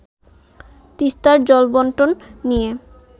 তিস্তার জলবন্টন নিয়ে